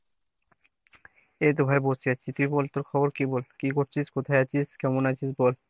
এই তো ভাই বসে আছি। তুই বল তোর খবর কী বল ? কী করছিস ? কোথায় আছিস ? কেমন আছিস বল ?